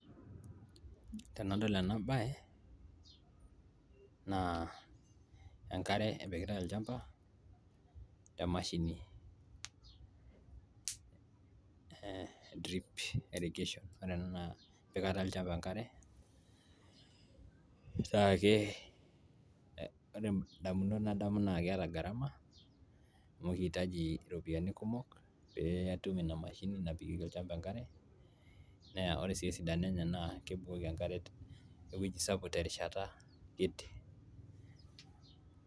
tenadol ena baye naa enkare epikitay olchamba temashini ee drip irrigation ore ena naa empikata olchamba enkare naake ore indamunot nadamu naa keeta gharama amu kiitaji iropiyiani kumok pee atum ina mashini napikieki olchamba enkare neya ore sii esidano enye naa kebukoki enkare ewueji sapuk terishata kiti.